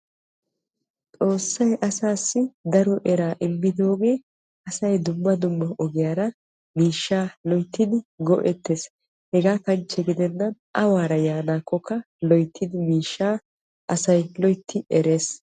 Xoossay asassi daro eraa immidoogee asay dumma dumma ogiyaara miishshaa loyttidi go''ettees. hegaa kanchche gidennan awaara yaanakkoka loyttidi miishsha asay loytti erees.